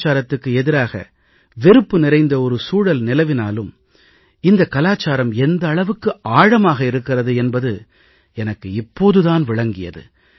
கலாச்சாரத்துக்கு எதிராக வெறுப்பு நிறைந்த ஒரு சூழல் நிலவினாலும் இந்தக் கலாச்சாரம் எந்த அளவுக்கு ஆழமாக இருக்கிறது என்பது எனக்கு இப்போது தான் விளங்கியது